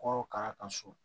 Kɔrɔ k'a ka so